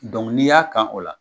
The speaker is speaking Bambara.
Dɔnku n'i y'a y'a kan o la